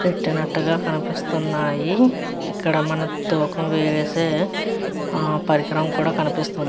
పెట్టినట్టుగా కనిపిస్తున్నాయి ఇక్కడ మనకి తూకం వేసే ఆ పరికరం కూడా కనిపిస్తుంది.